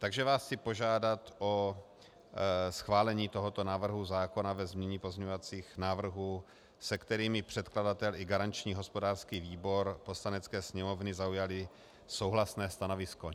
Takže vás chci požádat o schválení tohoto návrhu zákona ve znění pozměňovacích návrhů, se kterými předkladatel i garanční hospodářský výbor Poslanecké sněmovny zaujali souhlasné stanovisko.